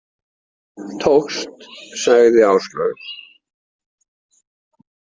Tókst, sagði Áslaug.